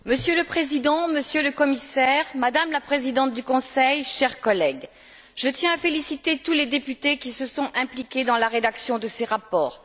Monsieur le Président, Monsieur le Commissaire, Madame la Présidente du Conseil, chers collègues, je tiens à féliciter tous les députés qui se sont impliqués dans la rédaction de ces rapports.